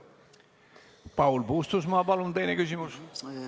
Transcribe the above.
Paul Puustusmaa, palun teine küsimus!